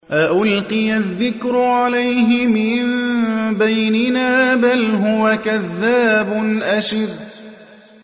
أَأُلْقِيَ الذِّكْرُ عَلَيْهِ مِن بَيْنِنَا بَلْ هُوَ كَذَّابٌ أَشِرٌ